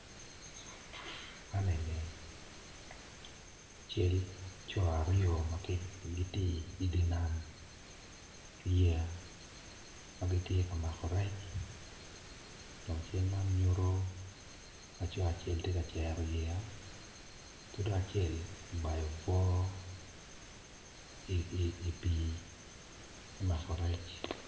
Man eni cal co aryo ma gitye i dye nam i yey ma gitye ka makorec dok cal man nyuto laco acel tye ka cero yeya ki dong acel obayo obwo i pii me mako rec.